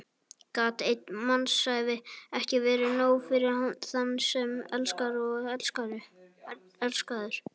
Gat ein mannsævi ekki verið nóg fyrir þann sem elskar og er elskaður?